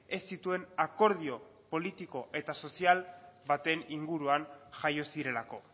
ez zituen akordio politiko eta sozial baten inguruan jaio zirelako